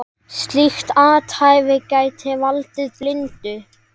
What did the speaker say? Slíkt athæfi gæti valdið blindu.